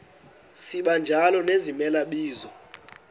sibanjalo nezimela bizo